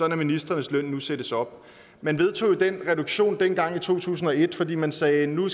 at ministrenes løn nu sættes op man vedtog jo den reduktion dengang i to tusind og et fordi man sagde at nu